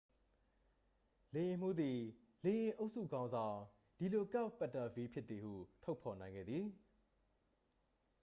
လေယာဉ်မှူးသည် လေယာဉ်အုပ်စုခေါင်းဆောင် ဒီလိုကာ့တ်ပက်တာဗီး ဖြစ်သည်ဟု ဖော်ထုတ်နိုင်ခဲ့သည်